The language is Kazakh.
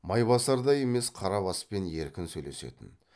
майбасардай емес қарабаспен еркін сөйлесетін